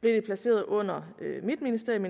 blev det placeret under mit ministerium